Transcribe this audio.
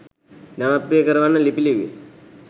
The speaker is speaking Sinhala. ජනප්‍රිය කරවන්න ලිපි ලිව්වේ?